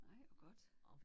Nej hvor godt